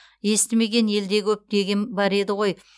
естімеген елде көп деген бар еді ғой